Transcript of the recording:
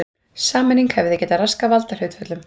Sameining hefði því getað raskað valdahlutföllum.